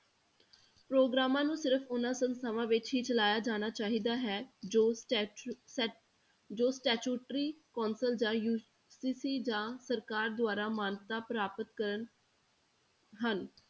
ਪ੍ਰੋਗਰਾਮਾਂ ਨੂੰ ਸਿਰਫ਼ ਉਹਨਾਂ ਸੰਸਥਾਵਾਂ ਵਿੱਚ ਹੀ ਚਲਾਇਆ ਜਾਣਾ ਚਾਹੀਦਾ ਹੈ ਜੋ ਸਟੈਚੂ~ ਸਟੈ~ ਜੋ statutory council ਜਾਂ ਜਾਂ ਸਰਕਾਰ ਦੁਆਰਾ ਮਾਨਤਾ ਪ੍ਰਾਪਤ ਕਰਨ ਹਨ।